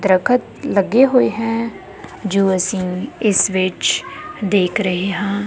ਦਰੱਖਤ ਲੱਗੇ ਹੋਏ ਹੈ ਜੋ ਅਸੀਂ ਇਸ ਵਿੱਚ ਦੇਖ ਰਹੇ ਹਾਂ।